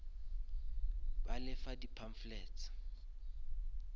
ba le fa di pamphlets